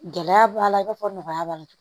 Gɛlɛya b'a la i n'a fɔ nɔgɔya b'a la